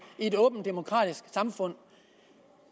i et åbent demokratisk samfund